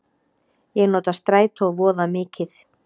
Ég nota strætó voða mikið.